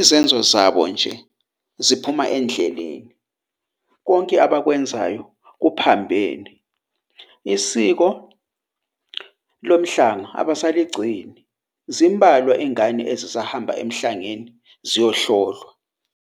izenzo zabo nje ziphuma endleleni. Konke abakwenzayo kuphambene isiko lomhlanga abasaligcini zimbalwa ingane, ezisahamba emhlangeni ziyahlolwa.